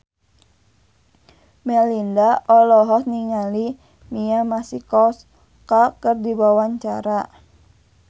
Melinda olohok ningali Mia Masikowska keur diwawancara